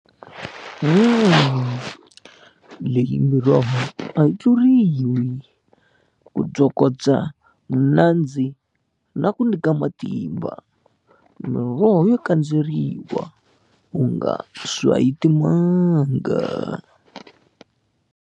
Leyi miroho a yi tluriwi ku tsokotsa vunandzi na ku nyika matimba miroho yo kandzeriwa u nga swayi timanga.